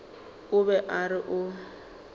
o be a re o